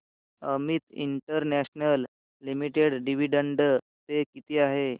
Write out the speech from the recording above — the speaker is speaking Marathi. Amit International Limited dividend pay किती आहे